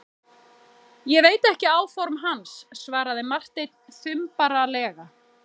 Ég veit ekki áform hans, svaraði Marteinn þumbaralega.